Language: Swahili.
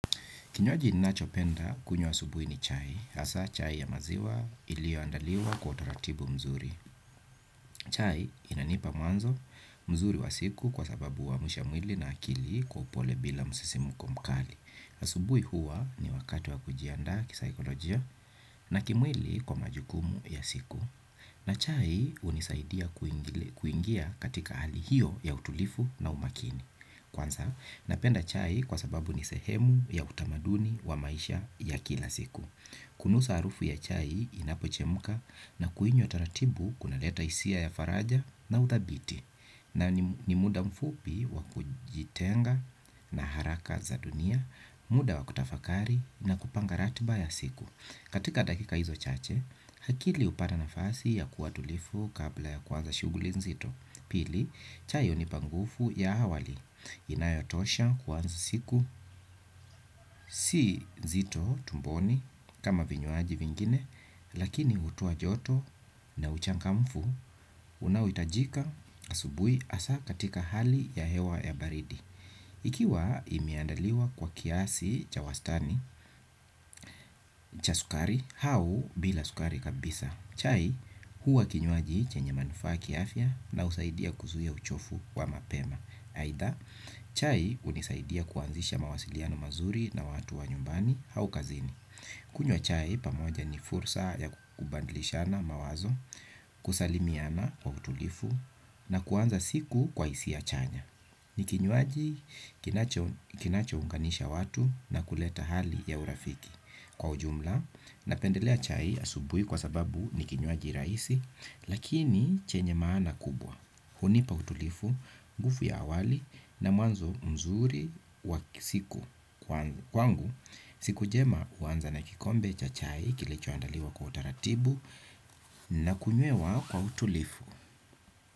Kinyoaji ninachopenda kunyo asubui ni chai. Asa chai ya maziwa ilio andaliwa kwa utaratibu mzuri. Chai inanipa mwanzo mzuri wa siku kwa sababu wamusha mwili na akili kwa upole bila musisimuko mkali. Asubui huwa ni wakati wa kujianda kisahikolojia na kimwili kwa majukumu ya siku. Na chai unisaidia kuingia katika hali hiyo ya utulifu na umakini. Kwanza, napenda chai kwa sababu ni sehemu ya utamaduni wa maisha ya kila siku. Kunusa arufu ya chai inapochemuka na kuinyo taratibu kuna leta isia ya faraja na utabiti. Na ni muda mfupi wa kujitenga na haraka za dunia, muda wa kutafakari na kupanga ratiba ya siku. Katika dakika hizo chache, hakili upata nafasi ya kua tulifu kabla ya kwanza shuguli nzito. Pili, chai hunipa ngufu ya hawali, inayotosha kuanza siku, si nzito tumboni kama vinyuaji vingine, lakini utoa joto na uchangamfu, unaowitajika asubui asa katika hali ya hewa ya baridi. Ikiwa imeandaliwa kwa kiasi cha wastani cha sukari hau bila sukari kabisa chai huwa kinyuaji chenye manufa kiafia na usaidia kuzuia uchofu wa mapema. Haida chai unisaidia kuanzisha mawasiliano mazuri na watu wa nyumbani hau kazini. Kunywa chai pamoja ni fursa ya kubandlishana mawazo kusalimiana kwa utulifu na kuanza siku kwa isiya chanya. Ni kinyuaji kinacho unganisha watu na kuleta hali ya urafiki kwa ujumla na pendelea chai asubui kwa sababu nikinyuaji raisi, lakini chenye maana kubwa. Hunipa utulifu, ngufu ya awali na muanzo mzuri wa siku kwangu, siku jema uanza na kikombe cha chai kilicho andaliwa kwa utaratibu na kunyewa kwa utulifu.